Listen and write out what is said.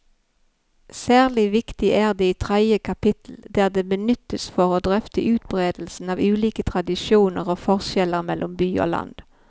Særlig viktig er det i tredje kapittel, der det benyttes for å drøfte utbredelsen av ulike tradisjoner og forskjeller mellom by og land.